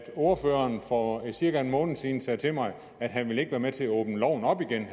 ordføreren for cirka en måned siden sagde til mig at han ikke ville være med til at åbne loven op igen